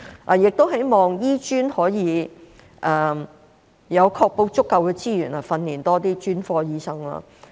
我亦希望醫專可以確保有足夠的資源，訓練多些專科醫生。